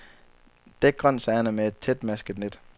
Dæk grøntsagerne med et tætmasket net.